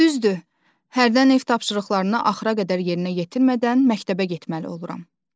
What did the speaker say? Düzdür, hərdən ev tapşırıqlarını axıra qədər yerinə yetirmədən məktəbə getməli oluram.